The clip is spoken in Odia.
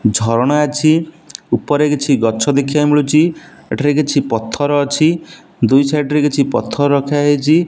ଝରଣା ଅଛି ଉପରେ କିଛି ଗଛ ଦେଖିବାକୁ ମିଳୁଛି। ଏଠାରେ କିଛି ପଥର ଅଛି ଦୁଇ ସାଇଡ ରେ କିଛି ପଥର ରଖା ହେଇଛି।